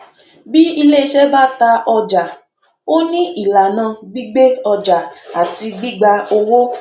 bí ilé iṣẹ bá ta ọjà ó ní ìlànà gbígbé ọjà àti gbígba owó